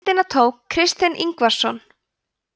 myndina tók kristinn ingvarsson